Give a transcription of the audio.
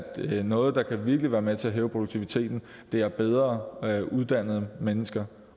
noget der virkelig kan være med til at hæve produktiviteten er bedre uddannede mennesker